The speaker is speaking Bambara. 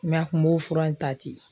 a kun b'o fura in ta ten.